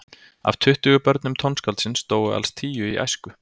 Af tuttugu börnum tónskáldsins dóu alls tíu í æsku.